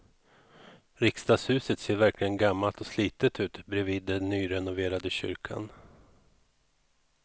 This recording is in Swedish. Riksdagshuset ser verkligen gammalt och slitet ut bredvid den nyrenoverade kyrkan.